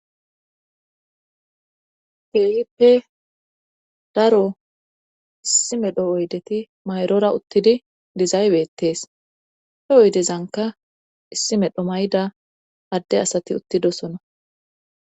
keeyippe daro issi medho oydeti mayrora uttidi dizaybettees he oydezzanka issi medho mayda adde asati uttidosona